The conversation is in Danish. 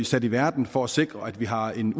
sat i verden for at sikre at vi har en